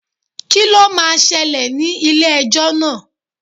Kí lo máa ṣẹlẹ̀ ní ilé ẹjọ́ náà?